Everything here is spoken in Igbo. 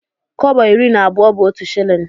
Kọbọ iri na abụọ bu otu shillin.